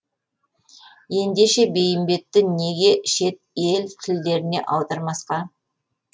ендеше бейімбетті неге шет ел тілдеріне аудармасқа